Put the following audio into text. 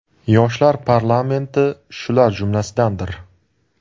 Yoshlar parlamenti shular jumlasidandir.